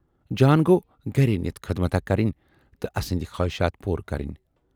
جان گَو گرٕے نِتھ خدمتھاہ کَرٕنۍ تہٕ اَسٕندۍ خٲہِشات پوٗرٕ کَرٕنۍ۔